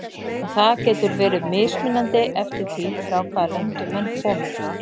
Og það getur verið mismunandi eftir því frá hvaða löndum menn komu.